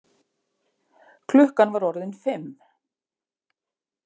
Klukkan var orðin fimm.